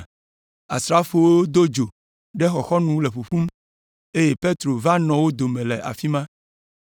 Asrafowo do dzo ɖe xɔxɔnu le ƒuƒum, eye Petro va nɔ wo dome le afi ma.